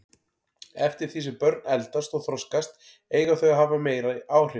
Eftir því sem börn eldast og þroskast eiga þau að hafa meiri áhrif.